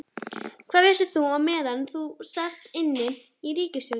Hvað vissir þú meðan þú sast inni í ríkisstjórn?